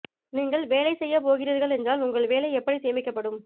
நீங்கள் வேலை செய்யப் போகிறீர்கள் என்றால் உங்கள் வேலை எப்படி சேமிக்கப்படும்